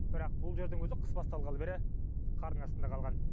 бірақ бұл жердің өзі қыс басталғалы бері қардың астында қалған